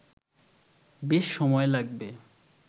বেশ সময় লাগবে